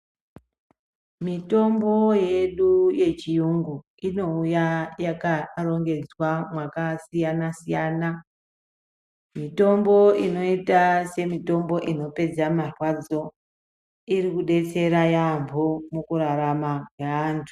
Mitombo yedu yechiyungu inouya yakarongedzwa makasiyana siyana mitombo inoita semitombo inopedza marwadzo ikudetsera yaamho mukurarama meantu.